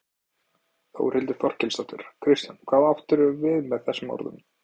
Þórhildur Þorkelsdóttir: Kristján hvað áttirðu við með þessum orðum?